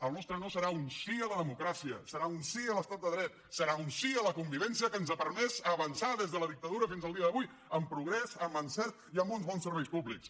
el nostre no serà un sí a la democràcia serà un sí a l’estat de dret serà un sí a la convivència que ens ha permès avançar des de la dictadura fins al dia d’avui amb progrés amb encert i amb uns bons serveis públics